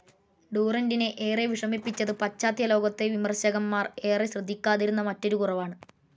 ഡൂറൻ്റിനെ ഏറെ വിഷമിപ്പിച്ചത് പാശ്ചാത്യലോകത്തെ വിമർശകന്മാർ ഏറെ ശ്രദ്ധിക്കാതിരുന്ന മറ്റൊരു കുറവാണ്.